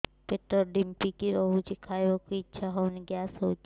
ପେଟ ଢିମିକି ରହୁଛି ଖାଇବାକୁ ଇଛା ହଉନି ଗ୍ୟାସ ହଉଚି